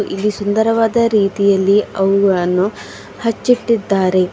ಇಲ್ಲಿ ಸುಂದರವಾದ ರೀತಿಯಲ್ಲಿ ಅವುಗಳನ್ನು ಹಚ್ಚಿಟ್ಟಿದ್ದಾರೆ.